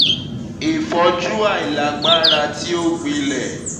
ifoju ailagbara ti o gbilẹ le